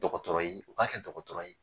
Dɔgɔtɔrɔ ye u k'a kɛ dɔgɔtɔrɔ ye.